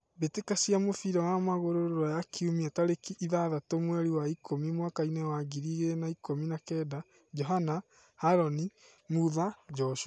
Mbĩtĩka cia mũbira wa magũrũ Ruraya Kiumia tarĩki ithathatũ mweri wa ikũmi mwakainĩ wa ngiri igĩrĩ na ikũmi na kenda: Johana, Harũni, Mutha, Joshua.